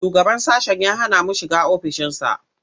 Shugaban sashen ya hana mu shiga ofishinsa.